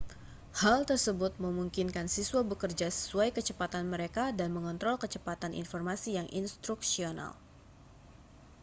hal tersebut memungkinkan siswa bekerja sesuai kecepatan mereka dan mengontrol kecepatan informasi yang instruksional